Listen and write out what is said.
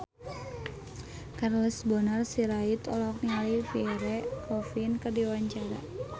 Charles Bonar Sirait olohok ningali Pierre Coffin keur diwawancara